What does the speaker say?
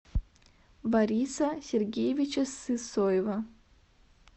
бориса сергеевича сысоева